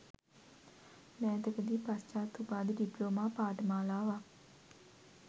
මෑතකදී පශ්චාත් උපාධි ඩිප්ලෝමා පාඨමාලාවක්